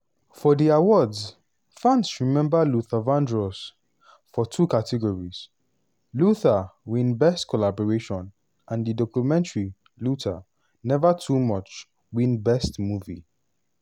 for di awards fans remember luther vandross for two categories: "luther" win best collaboration and di documentary luther: never too much win best movie.